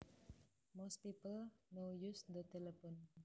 Most people now use the telephone